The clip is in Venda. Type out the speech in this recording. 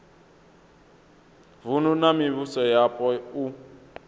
vunu na mivhuso yapo u